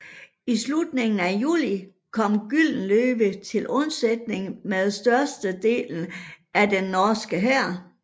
I slutningen af juli kom Gyldenløve til undsætning med størstedelen af den norske hær